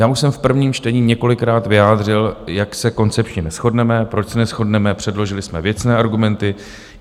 Já už jsem v prvním čtení několikrát vyjádřil, jak se koncepčně neshodneme, proč se neshodneme, předložili jsme věcné argumenty.